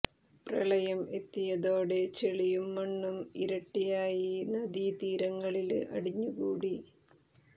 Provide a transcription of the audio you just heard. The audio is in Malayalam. പ്രളയം എത്തിയതോടെ ചെളിയും മണ്ണും ഇരട്ടിയായി നദീ തീരങ്ങളില് അടിഞ്ഞു കൂടി